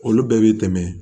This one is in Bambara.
Olu bɛɛ bɛ tɛmɛ